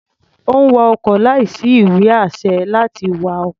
Ó ń wa ọkọ̀ láìsí ìwé-àṣẹ láti wa ọkọ̀.